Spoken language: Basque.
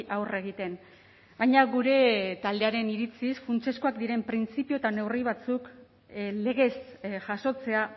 aurre egiten baina gure taldearen iritziz funtsezkoak diren printzipio eta neurri batzuk legez jasotzea